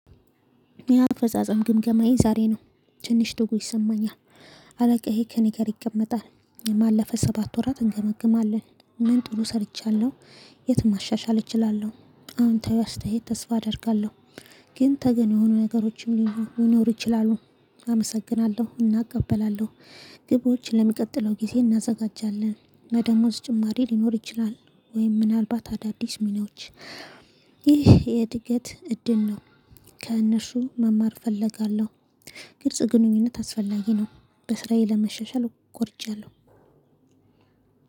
የአፈጻጸም ግምገማዬ ዛሬ ነው ትንሽ ደጎ ይሰማኛል። አለቃዬ ከእኔ ጋር ይቀመጣል ያለፈ ሰባት ወራት እንገመግማለን። ምን ጥሩ ሰርቻለሁ። የትም ማሻሻል እችላለሁ። አወንታዊ አስተያየት ተስፋ አደርጋለሁ። ግን ተገን የሆኑ ነገሮችም ሊኖሩ ይችላሉ። አመሰግናለሁ እና እቀበላለሁ። ግቦች ለሚቀጥለው ጊዜ እናዘጋጃለን። የደሞዝ ጭማሪ ሊኖር ይችላል። ወይም ምናልባት አዳዲስ ሚኒዎች። ይህ የእድገት እድል ነው። ከእነርሱ መማር እፈልጋለሁ። ግልጽ ግንኙነት አስፈላጊ ነው። በስራዬ ለመሻሻል ቆርጫለሁ።